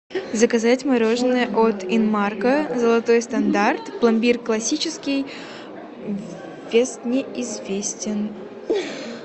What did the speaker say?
заказать мороженое от инмарко золотой стандарт пломбир классический вес неизвестен